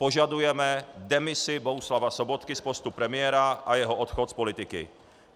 Požadujeme demisi Bohuslava Sobotky z postu premiéra a jeho odchod z politiky.